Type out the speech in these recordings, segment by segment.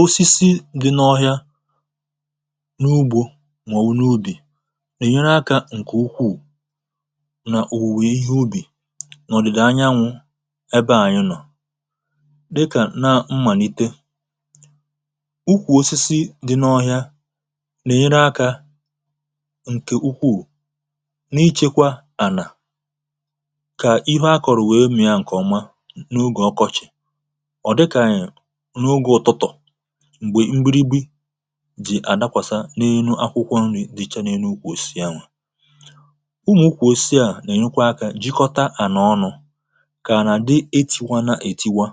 osisi dị n’ọhịa n’ugbo mà ọ̀wụ̀ n’ubì nà ẹ̀nyẹrẹ akȧ ǹkẹ̀ ukwù nà òwùwè ihe ubì n’ọ̀dị̀dà anyanwụ̇ ebe anyụ nọ̀ dịkà nà mmànite ukwù osisi dị n’ọhịa nà ẹ̀nyẹrẹ akȧ ǹkẹ̀ ukwù n’ịchẹkwa ànà kà ihe akọ̀rọ̀ wee mìa ǹkẹ̀ ọ̀ma n’ugè ọkọchị̀ m̀gbè mbiri gbi̇ jì à dakwàsȧ n’enu akwụkwọ nri̇ dị̇chà n’enu kwùsi ànwà ụmụ̀ ụkwụ̇ osi à nà-ènyekwa akȧ jikọta à nà ọnu̇ kà nà-àdị eti̇wana ètiwa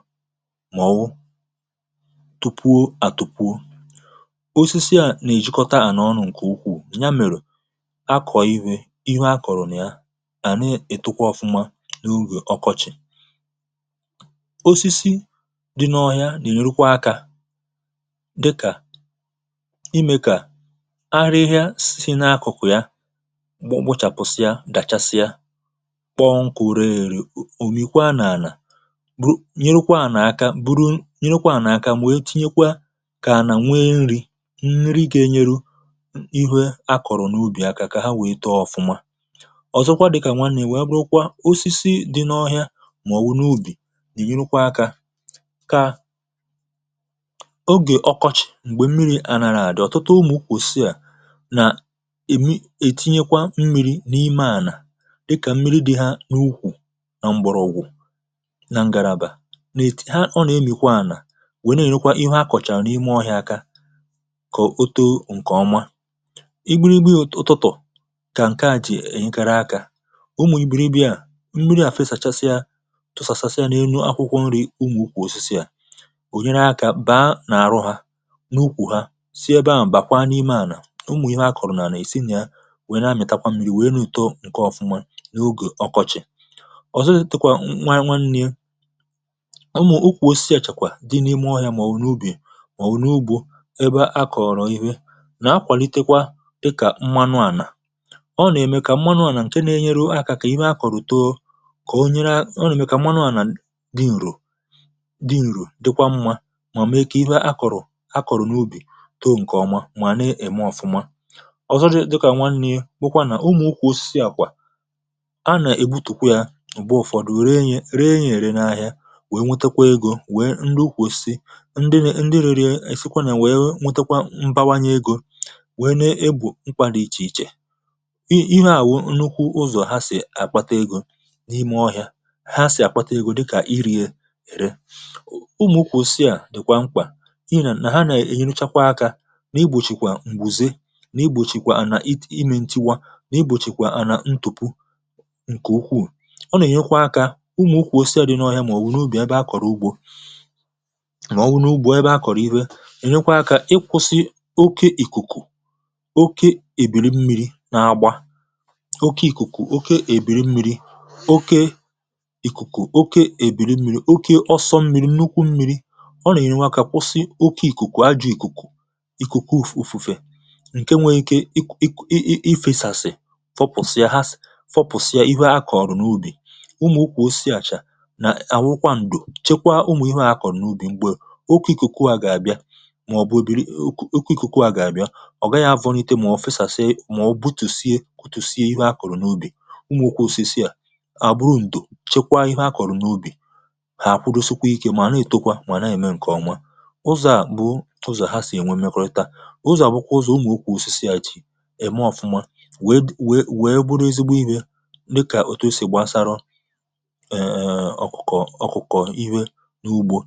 màọwụ tupuo à tupuo osisi à nà-èjikọta à nà ọnu̇ ǹkè ukwù nya mèrè akọ̀ ihe akọ̀rọ̀ nà ya à na-ètukwa ọ̀fuma n’ugè ọkọchị̀ dịkà imė kà arịhịȧ si n’akụ̀kụ̀ ya gbochàpụ̀sịa dàchasịa kpọ̀ọ nkùre ère òmìkwa n’àlà nyerekwa ànà aka bụrụ nyerekwa ànà aka mwèe tinyekwa kà ànà nwe nri nri gà-enyeru ihu a kọ̀rọ̀ n’ubì aka kà ha wèe too ọ̀fụma ọ̀zọkwa dịkà nwa nri wee bụ̀kwa osisi dị n’ọhịa màọwụ̀ n’ubì nyerekwa aka kà ogè ọkọchị̀ m̀gbè mmiri̇ ànàràdị̀ ọ̀tụtụ ụmụ̀ ụkwụ̀ osisi à nà-èmi ètinyekwa mmiri̇ n’ime ànà dịkà mmiri dị̀ ha n’ukwù nà m̀gbọ̀rọ̀gwụ̀ na ngarabà ha n’emìkwà ànà wèe na-ènukwa ihẹ a kọ̀cha n’ime ọhịȧ aka kà o too ǹkè ọma i buru igbu ụtụtụ̀ kà ǹkẹ a jì ènyekara akȧ ụmụ̀ ibèribì à mmiri à fesàchasịa tụsàsàsịa n’enu akwụkwọ̀ nrì ụmụ̀ ụkwụ̀ osisi à n’ukwù ha sie gbaa m̀ bàkwa n’ime ànà ụmụ̀ ihe akọ̀rọ̀ n’ànà è sinyè wèe na-amị̀takwa mmi̇ri̇ wèe n’ùto ǹke ọ̀fụma n’ogè ọkọchị̀ ọ̀zọtịtịkwa nnwa nwanye ụmụ̀ ukwù osisi àchèkwà di n’ime ọhịȧ màọ̀wụ̀ n’ubì màọ̀wụ̀ n’ugbȯ ebe akọ̀rọ̀ ihe nà akwàlitekwa dịkà mmanu ànà ọ nè mè kà mmanu ànà ǹke na-enyere akà kà ime akọ̀rọ̀ too kà o nyere ọ nè mè kà mmanu ànà dị ǹrù dị ǹrù dịkwa mmȧ màọ̀mụ̀ ekè ihe a kọ̀rụ̀ a kọ̀rọ̀ n’ubì too ǹkèọma mà na-ème ọ̀fụma ọzọ dị dịkà nwanne bụkwa nà ụmụ̀ ụkwụ̇sị àkwà a nà-èbutùkwu yà ùgbò ụ̀fọdụ ree yė ree yė rė n’ahịa wèe nwetekwa egȯ wèe ndị ukwùsị ndị rė ndị rėrịa èfikwa nà wèe nwetekwa mbawanye egȯ wèe na-ebù mkpȧ dị ichè ichè ihe à wụ̀ nnukwu ụzọ̀ ha sì àkpata egȯ n’ime ọhịȧ ha sì àkpata egȯ dịkà iri̇ è ere ihe nà nà ha nà-ènyerụchakwa akȧ n’igbòchìkwà m̀gbùze n’igbòchìkwà à nà imė ǹtiwa n’igbòchìkwà à nà ntupu ǹkè ukwuù ọ nà-ènyekwa akȧ ụmụ̀ ụkwụ̀ osie à dị na ọhịa mà ọ̀ wụ na ubì ebe ha kọ̀rọ̀ ugbȯ mà ọ wụ̀ na ugbȯ ebe ha kọ̀rọ̀ ihe ènyekwa akȧ ịkwụ̇sị oke ìkùkù oke èbìrì mmi̇ri̇ na agbà oke ìkùkù oke èbìrì mmi̇ri̇ oke ìkùkù oke èbìrì mmi̇ri̇ oke ọsọ mmi̇ri̇ nnukwu mmi̇ri̇ n’imė akụ̀ n’ugbo ǹkè ndụ̀ bụ̀ n’ugbȧ n’ùkù n’ugbȧ n’ùkù n’ugbȧ nà-àkwụ ọrụ̇ màọ̀bụ̀ ǹkè ndụ̀ bụ̀ n’ùkù n’ugbȧ nà-àkwụ ọrụ̇ màọ̀ bụ̀ n’ùkù n’ugbȧ nà-àkwụ ọrụ̇ màọ̀bụ̀ n’ùkù n’ùkù n’ùkù n’ùfè ǹkè nwẹ̀rẹ̀ ike ikė ikė ikė ikė ifė sàsị̀ fọpụ̀sịa ha sɔ́ fọpụ̀sịa ihe a kọ̀ọrụ̀ n’ubì ụmụ̀ ụkwụ̀ ukwù o si àchà nà àwụkwọ ǹdò chekwa ụmụ̀ ihẹ a kọ̀rọ̀ n’ubì mgbè n’ùkù n’ùkù ikù ikù kukù a gà-àbịa ọ gaghị̇ arọ̇ n’ite màọ̀bụ̀ fesàsị̀ maọ̀bụ̀ butù sie kòtù sie ihẹ a kọ̀rụ̀ n’ubì ụzọ̀ à bụ ụzọ̀ ha sì ènwe mekọ̇tȧ ụzọ̀ à bụkwa ụzọ̀ ụmụ̀ ukwu osisi à jì ème ọ̀fụma wee wèe wèe bụrụ ezigbo inyė dịkà òtu si gbasara eee ọkụ̀kọ̀ ọkụ̀kọ̀ iwe n’ugbo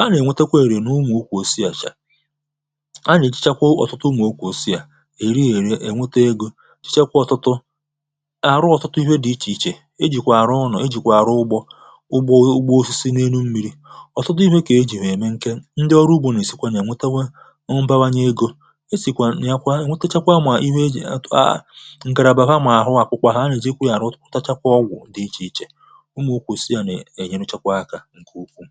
a nà-ènwete kwa èrè n’ụmụ̀ ukwu osisi àchà a nà-èchekwa ọ̀tụtụ ụmụ̀ ukwu osisi à eri èrè ènweta egȯ chekwa ọ̀tụtụ arụ ọ̀tụtụ ihe dị̇ ichè ichè e jìkwà àrụ ụnọ̀ e jìkwà arụ ụgbọ ụgbọ ụgbọ osisi n’elu mmiri ọ bụ̀ nye egȯ esìkwànà ya kwa nwetachakwa ụmụ̀ ihe e jì atụ̀ a ǹgàràbafà mà àhụ àkwụkwọ ha nà èjikwa yȧ rụ̀ tachakwa ọgwụ̀ dị ichè ichè ụmụ̀ ukwùsi̇ yȧ na ènyerechakwa akȧ ǹkè ukwuù